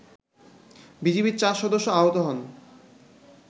বিজিবির ৪ সদস্য আহত হন